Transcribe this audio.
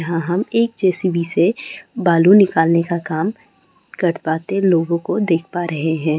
यहां हम एक जे_सी_बी से बालू निकालने का काम कर पाते लोगों देख पा रहे हैं।